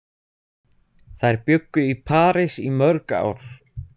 Þær bjuggu í París í mörg ár.